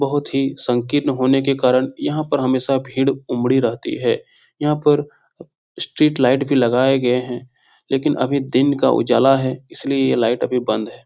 बहुत ही संकीर्ण होने के कारण यहाँ पे हमेशा भीड़ उमड़ी रहती है यहाँ पर स्ट्रीट लाइट भी लगाए गए है लेकिन अभी दिन का उजाला है इसलिए ये लाइट अभी बंद है।